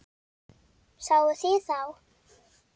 Sáuð þið þá?